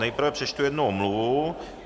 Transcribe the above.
Nejprve přečtu jednu omluvu.